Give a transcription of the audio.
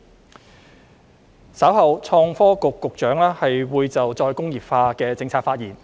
創新及科技局局長稍後會就再工業化的政策發言。